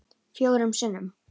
Fjórum sinnum